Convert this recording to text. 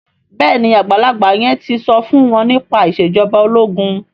béèni àgbàlagbà yen tí so fún wón nípa Ìṣèjọba ológun.